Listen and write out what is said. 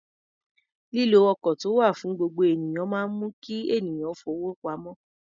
Lílo ọkọ̀ tó wà fún gbogbo ènìyàn máa ń mú kí ènìyàn fowó pamọ́.